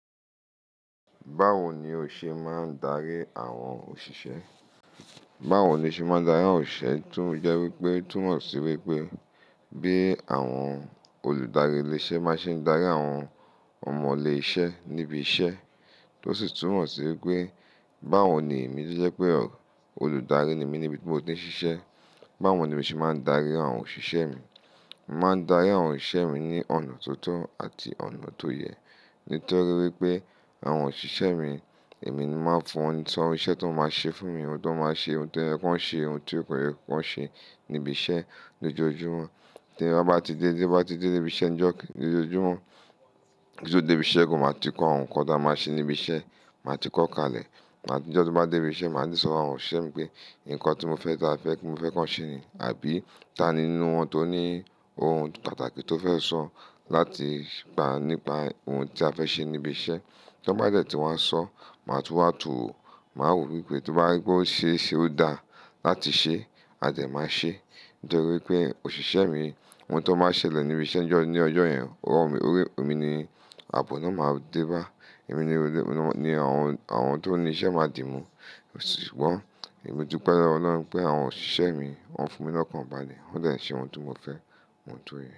Báwo ni o ṣe máa ń darí àwọn òṣìṣẹ́? Báwo ló ṣe máa ń darí àwọn òṣìṣẹ́, tún jẹ́ wípé, tún mọ̀ sí wípé bí àwọn olùdarí ilé-iṣẹ́ má ṣe ń darí àwọn ọmọ ilé iṣẹ́ níbi iṣẹ́. Tó sì tún mọ̀ sí wípé báwo ni èmi tí jẹ́ pé olùdarí ni mí níbi tí mo ti ń ṣiṣẹ́, báwo ni mi ṣe máa ń darí àwọn òṣìṣẹ́ mi. Màá ń darí àwọn òṣìṣẹ́ mi ní ọ̀nà tó tọ́ àti ọ̀nà tó yẹ. Nítorí wípé àwọn òṣìṣẹ́ mi, èmi máa ń fún wọn ní ìtọ́nisọ́ iṣẹ́ tí wọ́n máa ṣe fún mi. Nkan tó máa ṣe, ohun tó yẹ kan ṣe, ohun tí kò yẹ kan ṣe níbi iṣẹ́ lójoojúmọ́. Tí mo bá ti dé, tí mo bá ti dé dé ibi iṣẹ́ ní ọjọ́ kí-- lójoojúmọ́, kí n tó dé ibi iṣẹ́ gan, màá ti kọ́ àwọn nǹkan tí a máa ṣe níbi iṣẹ́, màá ti kọ́ kalẹ̀. Ní ọjọ́ tí bá dé ibi iṣẹ́, màá di sọ̀fun àwọn òṣìṣẹ́ mi pé nǹkan tí mo fẹ́ káa, mo fẹ́ kí wọ́n ṣe ni àbí tà ni nínú wọn tó ní ohun pàtàkì tó fẹ́ sọ láti sọ nípa ohun tí a fẹ́ ṣe níbi iṣẹ́. Tí wọ́n bá dẹ̀ tí wọ́n sọ, màá tún wà tún rò. Màá wò wípé tó bá wípé ó ṣe é ṣe ó dáa láti ṣe, a dẹ̀ máa ṣe é. Nítorí wípé òṣìṣẹ́ mi, ohun tí wọ́n bá ṣẹlẹ̀ níbi iṣẹ́ ní ọjọ́ yẹn, òróró mi, òwe mi ni, àbọ̀ náà máa dé bá. Èmi ni, àwọn tó ní iṣẹ́ máa dì mú. Ṣùgbọ́n èmi dúpẹ́ lọ́wọ́ Ọlọ́run pé àwọn òṣìṣẹ́ mi, wọ́n fi mi lọ́kàn bàlé. Wọ́n dẹ̀ ń ṣe ohun tí mo fẹ́, ohun tó yẹ.